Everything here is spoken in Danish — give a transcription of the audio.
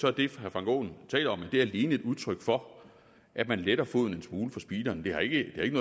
er det herre frank aaen taler om alene et udtryk for at man letter foden en smule fra speederen det har ikke